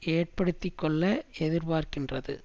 ஏற்படுத்தி கொள்ள எதிர்பார்க்கின்றது